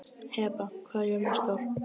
Heba, hvað er jörðin stór?